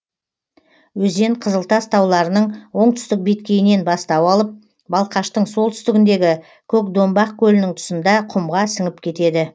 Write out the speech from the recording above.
өзен қызылтас тауларының оңтүстік беткейінен бастау алып балқаштың солтүстігіндегі көкдомбақ көлінің тұсында құмға сіңіп кетеді